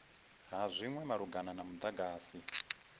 ha zwinwe malugana na mudagasi